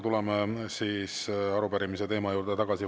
Tuleme siis arupärimise teema juurde tagasi.